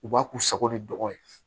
U b'a k'u sago ni dɔgɔ ye